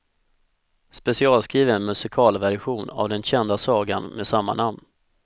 Specialskriven musikalversion av den kända sagan med samma namn.